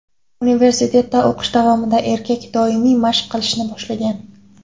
Universitetda o‘qish davomida erkak doimiy mashq qilishni boshlagan.